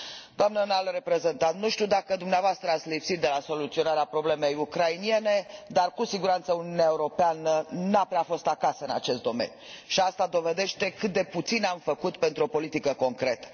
Doamnă înalt reprezentant, nu știu dacă dumneavoastră ați lipsit de la soluționarea problemei ucrainene dar, cu siguranță, Uniunea Europeană nu a prea fost acasă în acest domeniu și asta dovedește cât de puțin am făcut pentru o politică concretă.